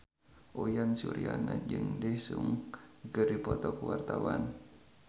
Uyan Suryana jeung Daesung keur dipoto ku wartawan